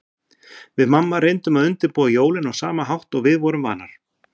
Við mamma reyndum að undirbúa jólin á sama hátt og við vorum vanar.